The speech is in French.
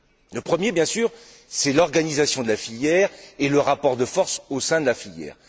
Le premier, bien sûr, c'est l'organisation de la filière et le rapport de force au sein de la filière.